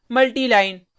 multi line multi line